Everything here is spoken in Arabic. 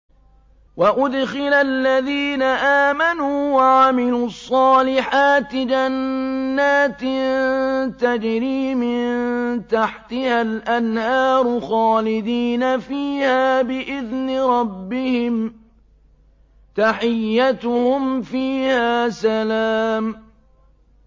وَأُدْخِلَ الَّذِينَ آمَنُوا وَعَمِلُوا الصَّالِحَاتِ جَنَّاتٍ تَجْرِي مِن تَحْتِهَا الْأَنْهَارُ خَالِدِينَ فِيهَا بِإِذْنِ رَبِّهِمْ ۖ تَحِيَّتُهُمْ فِيهَا سَلَامٌ